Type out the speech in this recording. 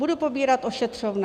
Budu pobírat ošetřovné.